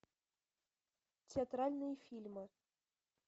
театральные фильмы